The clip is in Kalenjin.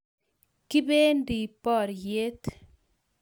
Kibendi Boryet